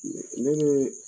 Ne ne bɛ